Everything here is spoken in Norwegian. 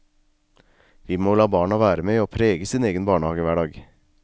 Vi må la barna være med å prege sin egen barnehagehverdag.